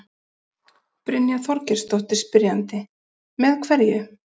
Brynja Þorgeirsdóttir, spyrjandi: Með hverju?